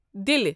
دِلہِ